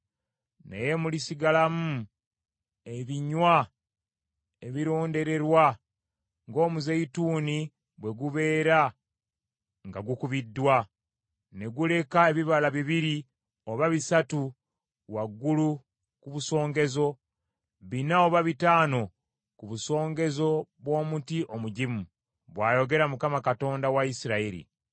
Naye mulisigalamu ebinywa ebirondererwa ng’omuzeyituuni bwe gubeera nga gukubiddwa, ne guleka ebibala bibiri oba bisatu waggulu ku busongezo, bina oba bitaano ku busongezo bw’omuti omugimu,” bw’ayogera Mukama , Katonda wa Isirayiri.